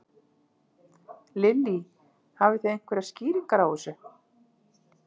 Lillý: Hafið þið einhverjar skýringar á þessu?